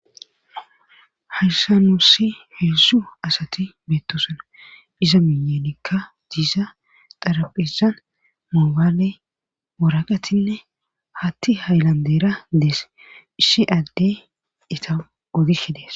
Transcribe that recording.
Haysa nuussi heedzdzu asati beettosuna iza miyenikka diisa xaraphisan moobaale moraqatinne hatti haylandera dees ishi adde ita odishe dees.